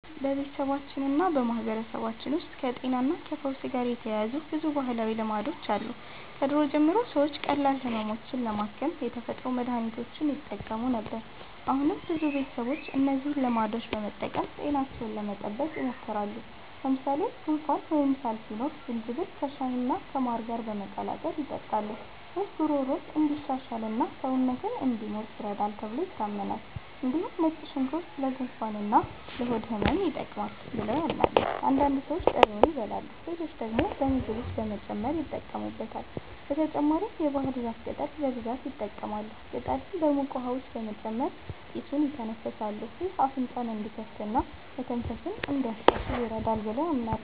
በቤተሰባችንና በማህበረሰባችን ውስጥ ከጤናና ከፈውስ ጋር የተያያዙ ብዙ ባህላዊ ልማዶች አሉ። ከድሮ ጀምሮ ሰዎች ቀላል ህመሞችን ለማከም የተፈጥሮ መድሀኒቶችን ይጠቀሙ ነበር። አሁንም ብዙ ቤተሰቦች እነዚህን ልማዶች በመጠቀም ጤናቸውን ለመጠበቅ ይሞክራሉ። ለምሳሌ ጉንፋን ወይም ሳል ሲኖር ዝንጅብል ከሻይና ከማር ጋር በመቀላቀል ይጠጣሉ። ይህ ጉሮሮን እንዲሻሽልና ሰውነትን እንዲሞቅ ይረዳል ተብሎ ይታመናል። እንዲሁም ነጭ ሽንኩርት ለጉንፋንና ለሆድ ህመም ይጠቅማል ብለው ያምናሉ። አንዳንድ ሰዎች ጥሬውን ይበላሉ፣ ሌሎች ደግሞ በምግብ ውስጥ በመጨመር ይጠቀሙበታል። በተጨማሪም የባህር ዛፍ ቅጠል በብዛት ይጠቀማሉ። ቅጠሉን በሙቅ ውሃ ውስጥ በመጨመር ጢሱን ይተነፍሳሉ። ይህ አፍንጫን እንዲከፍትና መተንፈስን እንዲያሻሽል ይረዳል ብለው ያምናሉ።